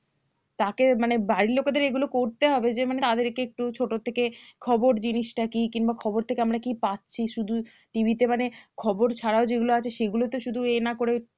তাকে মানে বাড়ির লোকেদের এগুলো করতে হবে যে মানে তাদেরকে একটু ছোট থেকে খবর জিনিসটা কি কিংবা খবর থেকে আমরা কি পাচ্ছি শুধু TV তে মানে খবর ছাড়াও যেগুলো আছে সেগুলোতে শুধু ইয়ে না করেতে মানে